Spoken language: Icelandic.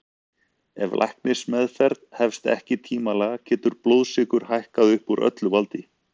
Ef læknismeðferð hefst ekki tímanlega getur blóðsykur hækkað upp úr öllu valdi.